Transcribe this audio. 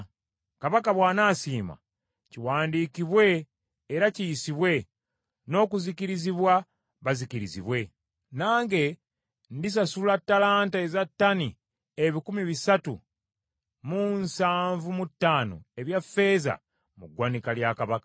Kabaka bw’anasiima, kiwandiikibwe era kiyisibwe, n’okuzikirizibwa bazikirizibwe: nange ndisasula ttalanta eza ttani ebikumi bisatu mu nsavu mu ttaano ebya ffeeza mu ggwanika lya Kabaka.”